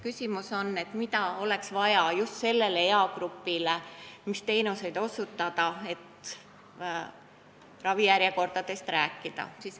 Küsimus on selles, mida oleks vaja just sellele eagrupile, st milliseid teenuseid tuleks neile osutada.